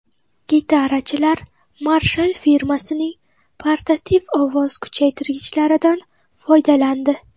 Gitarachilar Marshall firmasining portativ ovoz kuchaytirgichlaridan foydalandi.